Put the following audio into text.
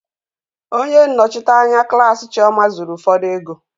onye nnọchite anya klaasị chioma zuru ụfọdụ ego.